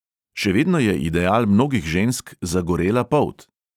Še vedno je ideal mnogih žensk zagorela polt.